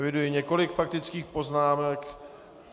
Eviduji několik faktických poznámek.